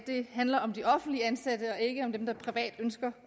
handler om de offentligt ansatte og ikke om dem der privat ønsker